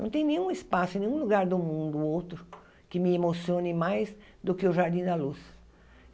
Não tem nenhum espaço, em nenhum lugar do mundo outro que me emocione mais do que o Jardim da Luz.